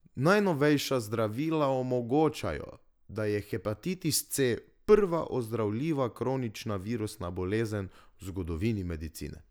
Najnovejša zdravila omogočajo, da je hepatitis C prva ozdravljiva kronična virusna bolezen v zgodovini medicine.